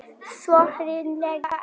Svo hryllilega einn.